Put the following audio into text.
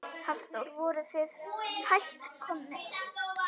Hafþór: Voruð þið hætt komnir?